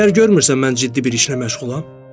Məgər görmürsən mən ciddi bir işlə məşğulam?